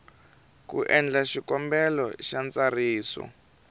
ku endla xikombelo xa ntsariso